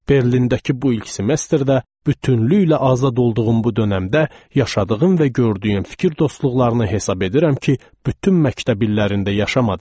Berlindəki bu ilk semestrdə bütövlüklə azad olduğum bu dönəmdə yaşadığım və gördüyüm fikir dostluqlarını hesab edirəm ki, bütün məktəb illərində yaşamadım.